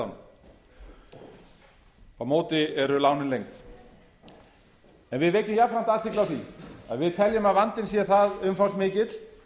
vegna húsnæðislána á móti eru lánin lengd en við vekjum jafnframt athygli á því að við teljum að vandinn sé það umfangsmikill